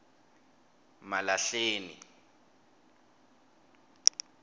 malahleni